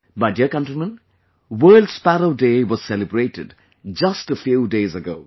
My dear countrymen, World Sparrow Day was celebrated just a few days ago